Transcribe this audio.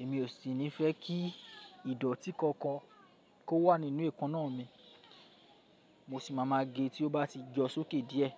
Èmi ò sì ní fẹ́ kí ìdọ̀tí kankan kó wà nínú eèkanná mi. Mo sì ma máa gé tí ó bá ti yọ sókè díẹ̀.